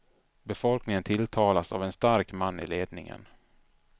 Befolkningen tilltalas av en stark man i ledningen.